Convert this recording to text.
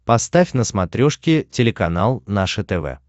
поставь на смотрешке телеканал наше тв